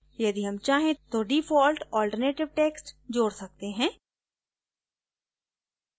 यदि हम चाहें तो default alternative text जोड सकते हैं